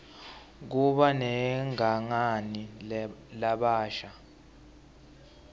kuba negangani labasha